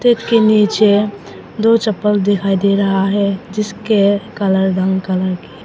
इसके नीचे दो चप्पल दिखाई दे रहा है जिसके काला रंग कलर के है।